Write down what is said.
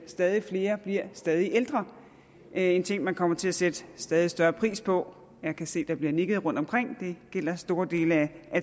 stadig flere bliver stadig ældre en ting man kommer til at sætte stadig større pris på jeg kan se at der bliver nikket rundtomkring det gælder store dele af